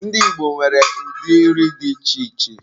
Ndị Igbo nwere ụdị nri dị iche iche.